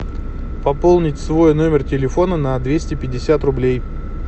пополнить свой номер телефона на двести пятьдесят рублей